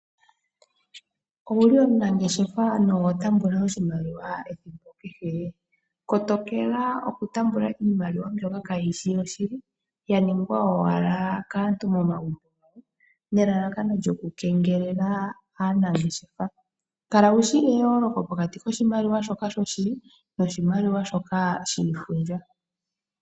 Owuli omunangeshefa noho taamba oshimaliwa ethimbo kehe? Kotokela oku taamba iimaliwa mbyoka kaayishi yoshili, ya ningwa owala kaantu momagumbo nelalakano lyoku kengelela aanangeshefa. Kala wushi eyooloko pokati koshimaliwa shoka shoshili noshimaliwa shoka